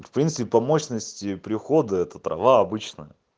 в принципе по мощности прихода это трава обычно